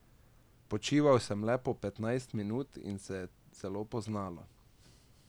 Počival sem le po petnajst minut in se je zelo poznalo.